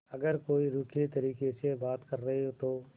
अगर कोई रूखे तरीके से बात करे तो